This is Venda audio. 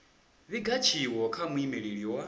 vhiga tshiwo kha muimeleli wa